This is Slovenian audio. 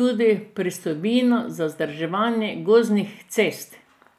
tudi pristojbino za vzdrževanje gozdnih cest.